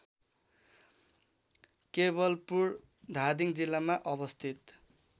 केवलपुर धादिङ जिल्लामा अवस्थित